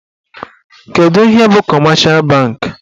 Kedụ ihe bụ kọmeshal bankị?